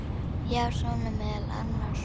Já, svona meðal annars.